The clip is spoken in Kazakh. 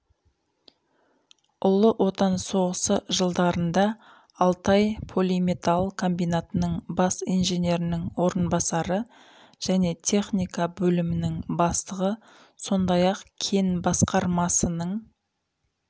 ұлы отан соғысы жылдарында алтай полиметалл комбинатының бас инженерінің орынбасары және техника бөлімінің бастығы сондай-ақ кен басқармасының